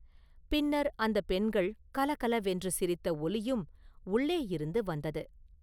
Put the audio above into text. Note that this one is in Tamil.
பின்னர் அந்தப் பெண்கள் கலகலவென்று சிரித்த ஒலியும் உள்ளேயிருந்து வந்தது.